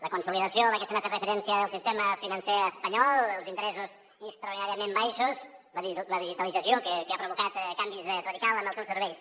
la consolidació a la que s’ha fet referència del sistema financer espanyol els interessos extraordinàriament baixos la digitalització que ha provocat canvis radicals en els seus serveis